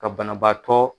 Ka banabaatɔ